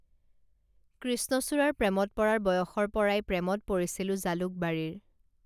কৃষ্ণচূড়াৰ প্ৰেমত পৰাৰ বয়সৰ পৰাই প্ৰেমত পৰিছিলোঁ জালুকবাৰীৰ